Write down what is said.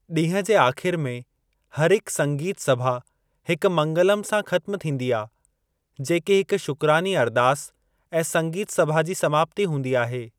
ॾींहं जे आखिर में हरिकु संगीत सभा हिकु मंगलम सां खत्‍म थींदी आ, जेकी हिकु शुक्रानी अरदास ऐं संगीत सभा जी समाप्ति हूंदी आहे।